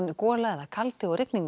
gola eða kaldi og rigning